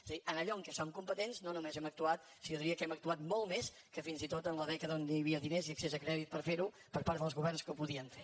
és a dir en allò en què som competents no només hem actuat sinó que jo diria que hem actuat molt més que fins i tot en la dècada en què hi havia diners i accés a crèdit per fer ho per part dels governs que ho podien fer